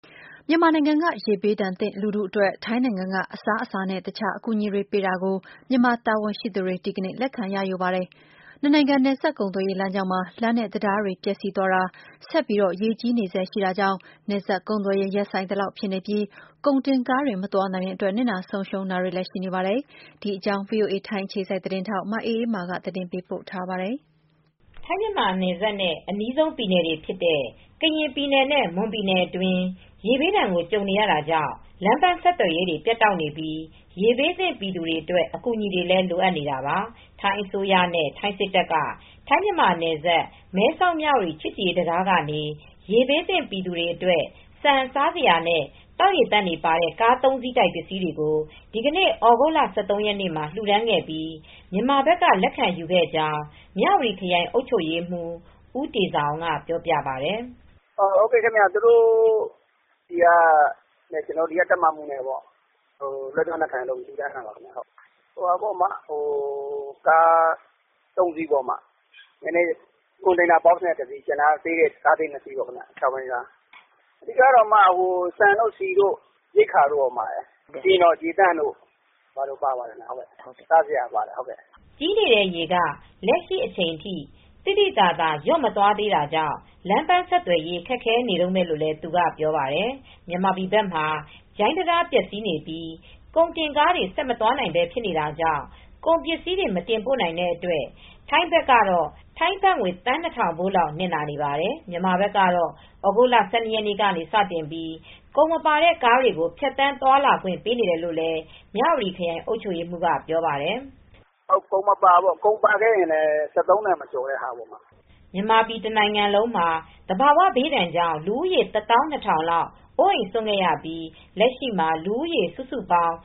မြန်မာနိုင်ငံက ရေဘေးဒဏ်သင့်လူထုအတွက် ထိုင်းနိုင်ငံက အစားအစာနဲ့ တခြားအကူအညီတွေပေးတာကို မြန်မာတာဝန်ရှိသူ တွေ ဒီကနေ့ လက်ခံရယူပါတယ်။ နှစ်နိုင်ငံ နယ်စပ်ကုန်သွယ်ရေး လမ်းကြောင်းမှာ လမ်းနဲ့တံတားတွေ ပျက်စီးသွားတာ၊ ဆက်ပြီး ရေကြီးနေဆဲရှိတာကြောင့် နယ်စပ်ကုန်သွယ်ရေး ရပ်ဆိုင်းသလောက်ဖြစ်နေပြီး ကုန်တင်ကားတွေ မသွားနိုင်တဲ့အတွက် နစ်နာ ဆုံးရှုံးတာတွေလည်းရှိနေပါတယ်။ ဒီအကြောင်း ဗွီအိုအေ ထိုင်းအခြေစိုက်သတင်းထောက် မအေးအေးမာက သတင်းပေးပို့ထားပါတယ်။ ထိုင်း-မြန်မာနယ်စပ်နဲ့ အနီးဆုံးပြည်နယ်တွေဖြစ်တဲ့ ကရင်ပြည်နယ်နဲ့ မွန်ပြည်နယ်အတွင်း ရေဘေးဒဏ်ကြုံ နေရတာကြောင့် လမ်းပမ်းဆက်သွယ်ရေးတွေ ပြတ်တောက်နေပြီး ရေဘေးသင့် ပြည်သူတွေအတွက်အကူညီတွေလည်းလိုအပ်နေတာပါ။ ထိုင်းအစိုးရနဲ့ ထိုင်းစစ်တပ်က ထိုင်း-မြန်မာနယ်စပ် မဲဆောက် ၊ မြဝတီချစ်ကြည်ရေး တံတားကနေ ရေဘေးသင့် ပြည်သူတွေအတွက် ဆန်၊ စားစရာနဲ့ သောက်ရေသန့် တွေပါတဲ့ကား၃စီးတိုက်ပစ္စည်းတွေကို ဒီကနေ့ သြဂုတ်လ ၁၃ ရက်နေ့မှာ လှူဒါန်းခဲ့ပြီး မြန်မာဘက်က လက်ခံယူခဲ့ကြောင်း မြဝတီခရိုင်အုပ်ချုပ်ရေးမှူး ဦးတေဇာအောင်က ပြောပါတယ်။ “သူတို့ဆီက နဲ့ ကျနော်ဒီက တပ်မဟာမှူးတို့က လွဲပြောင်းလက်ခံပါတယ်။ ကား ၃စီးနဲ့ ကွန်တိန်နာဘောက်စ်နဲ့ တစီးနဲ့ ကားလေး ၂စီး အားလုံးပေါင်း ၃စီး အဓိက ဆန်တို့ ၊ ဆီတို့၊ ရိက္ခာတို့ပါတယ်။ ရေသန့်တို့ပါတယ် စားစရာပါပါတယ်။ ခြောက်ဘီးကားနဲ့ ပေါ့” ကြီးနေတဲ့ရေက လက်ရှိအချိန်ထိ သိသိသာသာ လျော့မသွားသေးတာကြောင့် လမ်းပန်း ဆက်သွယ်ရေး ခက်ခဲနေတုန်းပဲလို့လည်း သူကပြောပါတယ်။ မြန်မာပြည်ဘက်မှာ ဂျိူင်းတံတား ပျက်စီးနေပြီး ကုန်တင်ကားတွေ ဆက်မသွားနိုင်ဘဲ ဖြစ်နေတာကြောင့် ကုန်ပစည်းတွေ မတင်ပို့နိုင်တဲ့အတွက် ထိုင်းဘက်အတွက် တနေ့ကိုဘတ်သန်း ၂၀၀၀ ဖိုးလောက် နစ်နာနေပါတယ်။မြန်မာဘက်ကတော့ သြဂုတ်လ ၁၂ရက်နေ့က နေစတင်ပြီး ကုန်မပါတဲ့ ကားတွေကိုဖြတ်သန်းသွားလာခွင့် ပေးနေတယ်လို့လည်း မြဝတီခရိုင်အုပ်ချုပ်ရေးမှူးက ပြောပြပါတယ်။ “ကုန်မပါဘူးပေါ့ ကုန်ပါခဲ့ရင်လည်း ၁၃ တန်မကျော်တဲ့ ကုန်တွေပေါ့။” မြန်မာပြည်တနိုင်ငံလုံးအနှံမှာ သဘာဝဘေးကြောင့်လူဦးရေ ၁ သောင်း ၂ ထောင်လောက် အိုးအိမ်စွန့်ခဲ့ရပြီး လက်ရှိမှာ လူဦးရေ စုစုပေါင်း